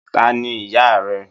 Taní ìyá rẹ?